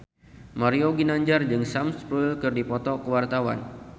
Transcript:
Mario Ginanjar jeung Sam Spruell keur dipoto ku wartawan